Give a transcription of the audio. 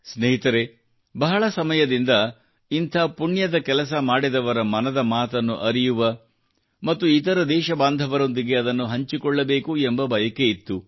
ಸ್ನೇಹಿತರೆ ಬಹಳ ಸಮಯದಿಂದ ಇಂಥ ಪುಣ್ಯದ ಕೆಲಸ ಮಾಡಿದವರ ಮನದ ಮಾತನ್ನು ಅರಿಯುವ ಮತ್ತು ಇತರ ದೇಶಬಾಂಧವರೊಂದಿಗೆ ಅದನ್ನು ಹಂಚಿಕೊಳ್ಳಬೇಕು ಎಂಬ ಬಯಕೆ ಇತ್ತು